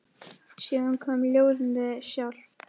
Síðan kom ljóðið sjálft: